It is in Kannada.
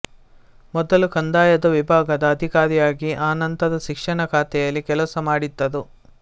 ಮೊದಲು ಕಂದಾಯದ ವಿಭಾಗದ ಅಧಿಕಾರಿಯಾಗಿ ಆನಂತರ ಶಿಕ್ಷಣ ಖಾತೆಯಲ್ಲಿ ಕೆಲಸಮಾಡಿದ್ದರು